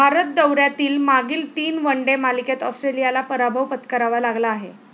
भारत दौऱ्यातील मागील तीन वन डे मालिकेत ऑस्ट्रेलियाला पराभव पत्करावा लागला आहे.